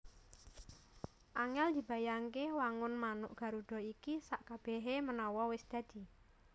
Angèl dibayangke wangun manuk Garuda iki sakkabèhé manawa wis dadi